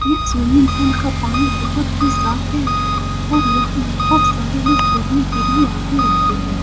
यह swimming pool का पानी बहुत ही साफ है और यहाँ बहुत सारे लोग तैरने के लिए आते रहते हैं ।